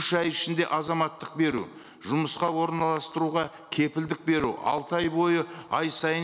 үш ай ішінде азаматтық беру жұмысқа орналастыруға кепілдік беру алты ай бойы ай сайын